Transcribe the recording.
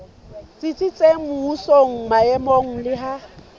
tsitsitseng mmusong maemong le ha